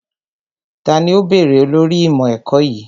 Tani ó bèrè olórí ìmọ̀ ẹ̀kọ́ yìí?